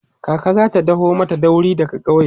kaka zata daho mata dauri daga ƙauye